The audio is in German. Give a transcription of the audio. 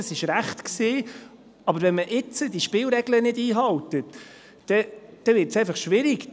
Das war richtig, aber wenn man jetzt diese Spielregeln nicht einhält, wird es schwierig.